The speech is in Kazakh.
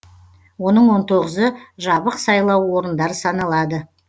оның он тоғызы жабық сайлау орындары саналады